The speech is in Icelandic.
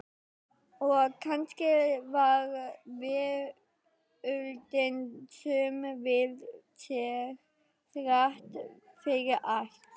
Og kannski var veröldin söm við sig, þrátt fyrir allt.